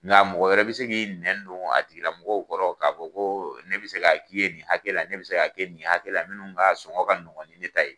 Nka mɔgɔ wɛrɛ bɛ se ki nɛn don a tigi lamɔgɔw kɔrɔ k'a fɔ ko ne bɛse ka k'i ye nin hakɛ la ne bɛ se ka kɛ nin hakɛ la minnu ka sɔngɔn ka nɔgɔn ni ne ta ye.